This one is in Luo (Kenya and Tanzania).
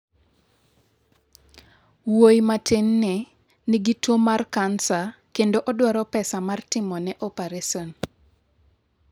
""Wuoyi matinni nigi tuwo mar kansa kendo odwaro pesa mar timone opares."""